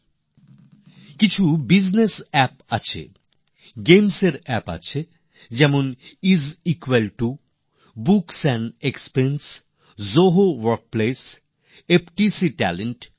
অনেকগুলি business app আছে গেমসএর অ্যাপ আছে যেমন is equal to books and expense Zoho workplace FTC talent